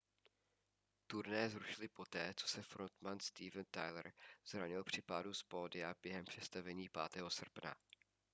turné zrušili poté co se frontman steven tyler zranil při pádu z pódia během představení 5. srpna